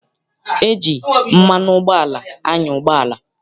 E ji mmanụ ụgbọala anya ụgbọala.